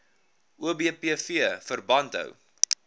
obpv verband hou